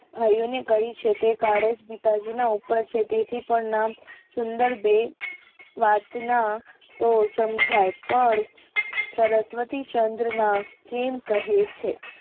ભાઈ ઓ ને કહ્યું છે કાડ જ પિતાજીના અલ્પક્ષેત્રે થી પણ ના સુંદર બે વાત ના એ સમજાય પણ સરસ્વતી ચંદ્રના એમ કહે છે